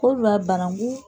Kodiwari banankun